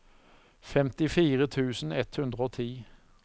femtifire tusen ett hundre og ti